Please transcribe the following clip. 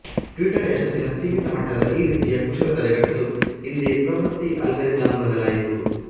Twitter ಯಶಸ್ಸಿನ ಸೀಮಿತ ಮಟ್ಟದ ಈ ರೀತಿಯ ಕುಶಲ ತಡೆಗಟ್ಟಲು ಹಿಂದೆ ಪ್ರವೃತ್ತಿ ಅಲ್ಗಾರಿದಮ್ ಬದಲಾಯಿಸಿತು